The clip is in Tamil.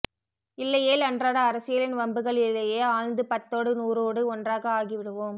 இல்லையேல் அன்றாட அரசியலின் வம்புகளிலேயே ஆழ்ந்து பத்தோடு நூறோடு ஒன்றாக ஆகிவிடுவோம்